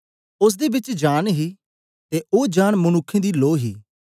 ओसदे बिच जांन ही ते ओ जांन मनुक्खें दी लो ही